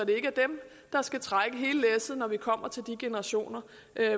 ikke er dem der skal trække hele læsset når man kommer til de generationer